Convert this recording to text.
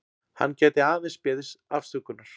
Hann gæti aðeins beðist afsökunar